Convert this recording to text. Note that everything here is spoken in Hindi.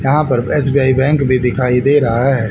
यहां पर एस_बी_आई बैंक भी दिखाई दे रहा है।